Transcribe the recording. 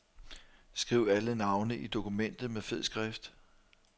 Skriv alle navne i dokumentet med fed skrift.